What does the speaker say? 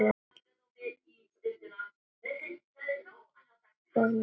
Fór hann með?